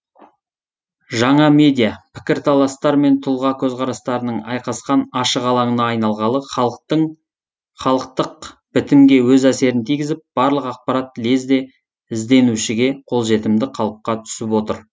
жаңа медиа пікірталастар мен тұлға көзқарастарының айқасқан ашық алаңына айналғалы халықтық бітімге өз әсерін тигізіп барлық ақпарат лезде ізденушіге қолжетімді қалыпқа түсіп отыр